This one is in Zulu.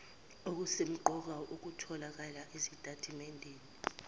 okusemqoka okutholakala esitatimendeni